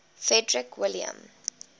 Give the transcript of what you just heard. frederick william